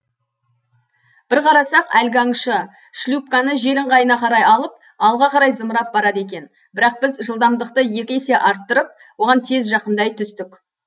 бір қарасақ әлгі аңшы шлюпканы жел ыңғайына қарай алып алға қарай зымырап барады екен бірақ біз жылдамдықты екі есе арттырып оған тез жақындай түстік